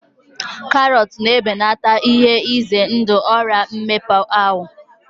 Karọt na-ebelata ihe ize ndụ Ọrịa mmepe ahụ